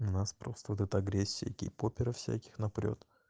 нас просто вот это агрессия гейпоперов всяких напрёт